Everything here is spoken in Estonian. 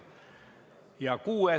Muid arvamusi ei ole.